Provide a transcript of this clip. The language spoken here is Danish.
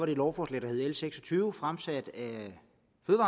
det lovforslag der hed l seks og tyve fremsat